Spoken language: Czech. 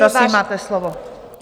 Prosím, máte slovo.